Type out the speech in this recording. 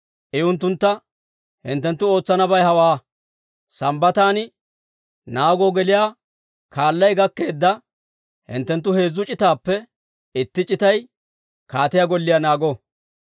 I unttuntta, «Hinttenttu ootsanabay hawaa. Sambbatan naagoo geliyaa kaalay gakkeedda hinttenttu heezzu c'itaappe itti c'itay kaatiyaa golliyaa naago;